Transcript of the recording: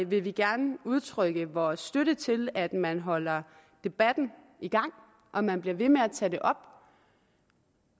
vil vi gerne udtrykke vores støtte til at man holder debatten i gang og man bliver ved med at tage det op